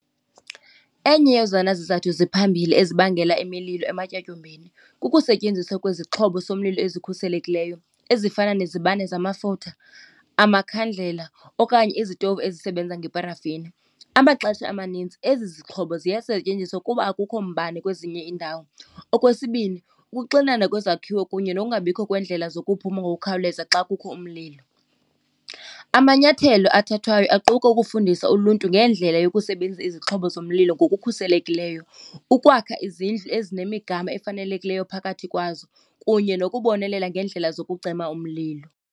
Enye yezona zizathu ziphambili ezibangela imililo ematyotyombeni kukusetyenziswa kwezixhobo somlilo ezikhuselekileyo ezifana nezibane zamafutha, amakhandlela okanye izitovu ezisebenza ngeparafini. Amaxesha amanintsi ezi zixhobo ziyasetyenziswa kuba akukho mbane kwezinye iindawo. Okwesibini, ukuxinana kwezakhiwo kunye nowungabikho kwendlela zokuphuma ngokukhawuleza xa kukho umlilo. Amanyathelo athathwayo aquka ukufundisa uluntu ngendlela yokusebenza izixhobo zomlilo ngokukhuselekileyo, ukwakha izindlu ezinemigama efanelekileyo phakathi kwazo, kunye nokubonelela ngendlela zokucima umlilo.